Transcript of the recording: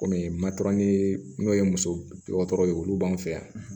Kɔni matɛrɛli n'o ye muso dɔgɔtɔrɔ ye olu b'an fɛ yan